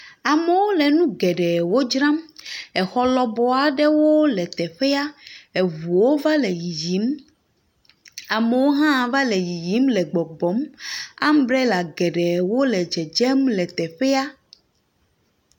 Amewo le nugeɖewo dzram. Xɔ lɔbɔɔ aɖewo le teƒea. Ŋuwo va le yiyim. Amewo hã va le yiyim le gbɔgbɔm. Ambrela geɖewo le dzedzem le teƒea.